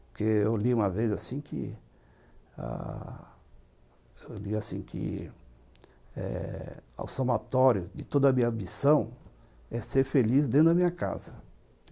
Porque eu li uma vez assim que ãh o somatório de toda a minha ambição é ser feliz dentro da minha casa.